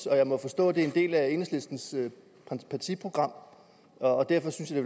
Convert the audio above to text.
jeg må forstå at det er en del af enhedslistens partiprogram og derfor synes jeg